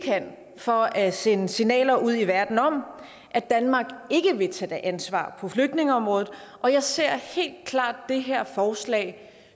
kan for at sende signaler ud i verden om at danmark ikke vil tage ansvar på flygtningeområdet og jeg ser helt klart det her forslag